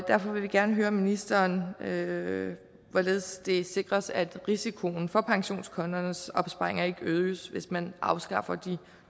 derfor vil vi gerne høre ministeren hvorledes hvorledes det sikres at risikoen for pensionskundernes opsparinger ikke øges hvis man afskaffer de